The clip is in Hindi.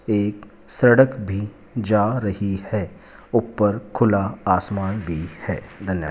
एक सड़क भी जा रही है ऊपर खुला आसमान भी है धन्य --